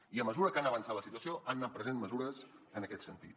i a mesura que ha anat avançant la situació han anat prenent mesures en aquest sentit